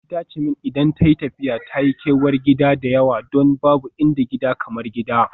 Aunty ta ce min idan tayi tafiya ta yi kewar gida da yawa don babu inda gida kamar gida.